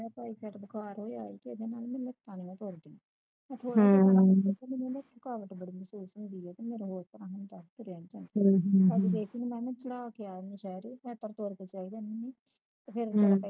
ਤੇ Typhoid ਬੁਖਾਰ ਹੋਇਆ ਹੈ ਤੇ ਉਹਦੇ ਨਾਲ ਮੇਰੀਆਂ ਲਤਾ ਜਹੀਆਂ ਨਾ ਤੁਰਦੀਆਂ ਤੇ ਇੱਕ ਮੈਨੂੰ ਥਕਾਵਟ ਬੜੀ ਮਹਿਸੂਸ ਹੁੰਦੀ ਤੇ ਮੇਰੀਆਂ ਰੋਟੀਆਂ ਵੀ ਦਸ ਕਿ ਰਹਿ ਗਈਆਂ ਤੇ ਮੈਂ ਚੜਾ ਕੇ ਆਵਾਗੀ ਸਾਰੇ ਤੇ ਮੈਂ ਤੜਕੇ ਤੜਕੇ ਚੱਲ ਜਾਂਦੀ ਹੁੰਦੀ ਆ ਤੇ ਫਿਰ